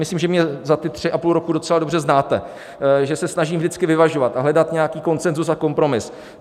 Myslím, že mě za ty tři a půl roku docela dobře znáte, že se snažím vždycky vyvažovat a hledat nějaký konsenzus a kompromis.